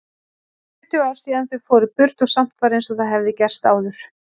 Tuttugu ár síðan þau fóru burt og samt var einsog það hefði gerst áðan.